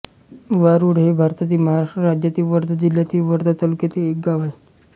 वारूड हे भारतातील महाराष्ट्र राज्यातील वर्धा जिल्ह्यातील वर्धा तालुक्यातील एक गाव आहे